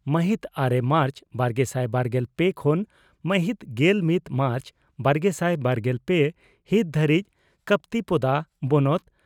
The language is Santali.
ᱢᱟᱦᱤᱛ ᱟᱨᱮ ᱢᱟᱨᱪ ᱵᱟᱨᱜᱮᱥᱟᱭ ᱵᱟᱨᱜᱮᱞ ᱯᱮ ᱠᱷᱚᱱ ᱢᱟᱦᱤᱛ ᱜᱮᱞ ᱢᱤᱛ ᱢᱟᱨᱪ ᱵᱟᱨᱜᱮᱥᱟᱭ ᱵᱟᱨᱜᱮᱞ ᱯᱮ ᱦᱤᱛ ᱫᱷᱟᱹᱨᱤᱡ ᱠᱚᱯᱛᱤᱯᱚᱫᱟ ᱵᱚᱱᱚᱛ